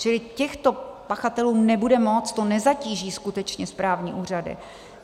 Čili těchto pachatelů nebude moc, to nezatíží skutečně správní úřady.